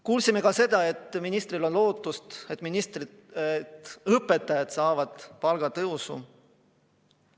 Kuulsime ka seda, et ministril on lootust, et õpetajad saavad palgatõusu.